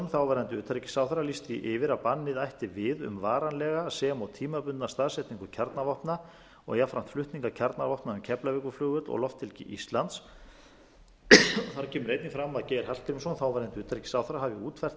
þáverandi utanríkisráðherra lýst því yfir að bannið ætti við um varanlega sem og tímabundna staðsetningu kjarnavopna og jafnframt flutninga kjarnavopna um keflavíkurflugvöll og lofthelgi íslands þar kemur einnig fram að geir hallgrímsson þáverandi utanríkisráðherra hafi útfært